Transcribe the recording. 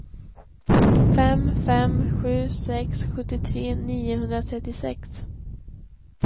fem fem sju sex sjuttiotre niohundratrettiosex